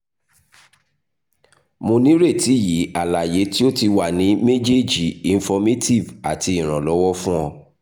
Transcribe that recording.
mo nireti yi alaye ti o ti wa ni mejeeji informative ati iranlọwọ fun o